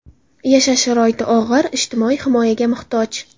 Yashash sharoiti og‘ir, ijtimoiy himoyaga muhtoj.